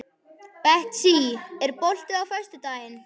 Betsý, er bolti á föstudaginn?